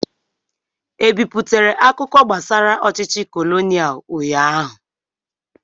E biputere akụkọ gbasara ọchịchị kolonial ụnyaahụ?